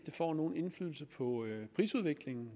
får nogen indflydelse på prisudviklingen